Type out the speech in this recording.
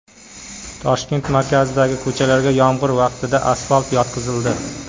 Toshkent markazidagi ko‘chalarga yomg‘ir vaqtida asfalt yotqizildi.